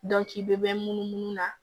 Dɔnki i bɛ mɛn munumunu na